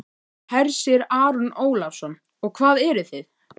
Hersir Aron Ólafsson: Og hvað eruð þið?